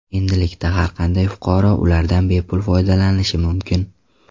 Endilikda har qanday fuqaro ulardan bepul foydalanishi mumkin.